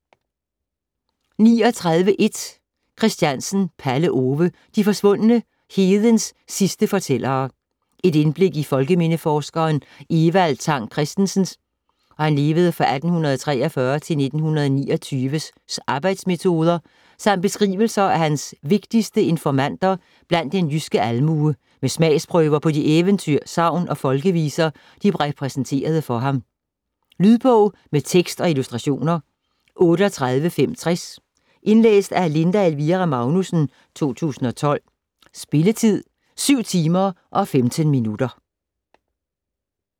39.1 Christiansen, Palle Ove: De forsvundne: hedens sidste fortællere Et indblik i folkemindeforskeren Evald Tang Kristensens (1843-1929) arbejdsmetoder samt beskrivelser af hans vigtigste informanter blandt den jyske almue med smagsprøver på de eventyr, sagn og folkeviser, de præsenterede ham for. Lydbog med tekst og illustrationer 38560 Indlæst af Linda Elvira Magnussen, 2012. Spilletid: 7 timer, 15 minutter.